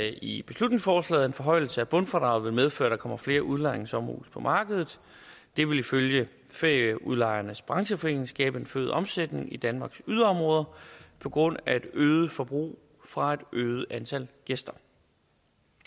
i beslutningsforslaget at en forhøjelse af bundfradraget vil medføre at der kommer flere udlejningssommerhuse på markedet det vil ifølge ferieudlejernes brancheforening skabe en forøget omsætning i danmarks yderområder på grund af et øget forbrug fra et øget antal gæster